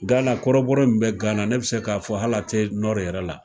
Gana kɔrɔbɔrɔ min be gana ne bi se k'a fɔ hala te nɔri yɛrɛ la